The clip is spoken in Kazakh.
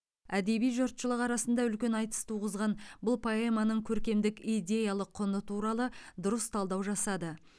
әдеби жұртшылық арасында үлкен айтыс туғызған бұл поэманың көркемдік идеялық құны туралы дұрыс талдау жасады